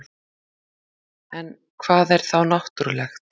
en hvað er þá náttúrulegt